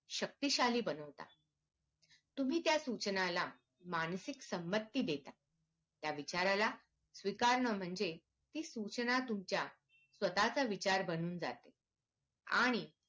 शक्तिशाली बनवता तुम्ही त्या सूचनाला मानसिक संमती देता त्या विचाराला स्वीकारणं म्हणजे ती सूचना तुमच्या स्वतःचा विचार बनून जाते आणि